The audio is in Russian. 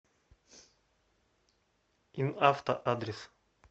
инавто адрес